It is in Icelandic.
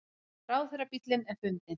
Ráðherrabíll er fundinn